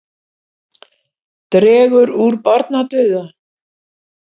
Dregur úr barnadauða